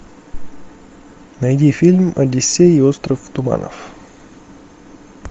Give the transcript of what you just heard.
найди фильм одиссей и остров туманов